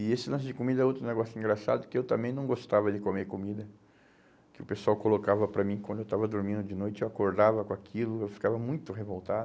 E esse lance de comida é outro negócio engraçado, que eu também não gostava de comer comida, que o pessoal colocava para mim quando eu estava dormindo de noite, eu acordava com aquilo, eu ficava muito